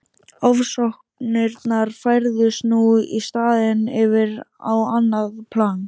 Ofsóknirnar færðust nú í staðinn yfir á annað plan.